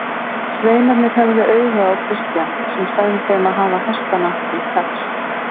Sveinarnir höfðu auga á Christian sem sagði þeim að hafa hestana til taks.